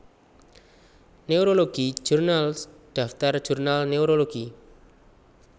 Neurology Journals daftar jurnal neurologi